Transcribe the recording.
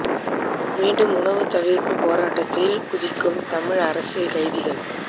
மீண்டும் உணவு தவிர்ப்புப் போராட்டத்தில் குதிக்கும் தமிழ் அரசியல் கைதிகள்